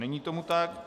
Není tomu tak.